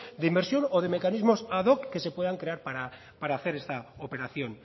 de inversión o de mecanismo ad hoc que se puedan crear para hacer esta operación